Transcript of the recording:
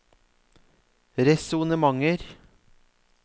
resonnementer